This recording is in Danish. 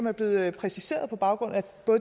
er blevet præciseret på baggrund af